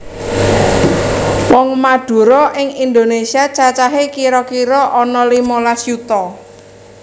Wong Madura ing Indonésia cacahe kira kira ana limolas yuta